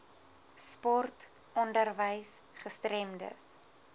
sport onderwys gestremdes